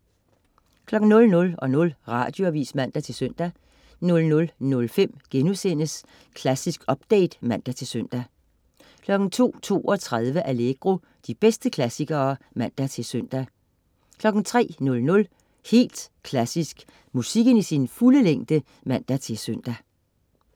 00.00 Radioavis (man-søn) 00.05 Klassisk update* (man-søn) 02.32 Allegro. De bedste klassikere (man-søn) 03.00 Helt Klassisk. Musikken i sin fulde længde (man-søn)